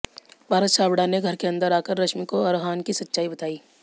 पारस छाबड़ा ने घर के अंदर आकर रश्मि को अरहान की सच्चाई बताई